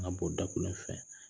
An ka bɔ dakolon fɛ